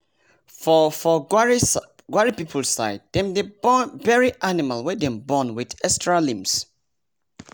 for for um gwari people side dem dey bury animal wey dem born with extra limbs